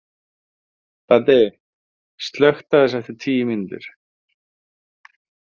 Baddi, slökktu á þessu eftir tíu mínútur.